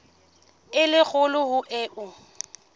e le kgolo ho eo